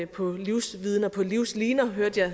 på livsviden og på livsliner hørte jeg